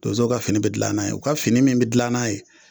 Donzow ka fini be gila n'a ye o ka fini min be dilan n'a ye